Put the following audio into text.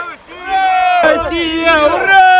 Ura, Rusiya!